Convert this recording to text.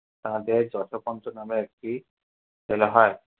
তাদের যোথকঞ্চ নামে একটি ছেলে হয়।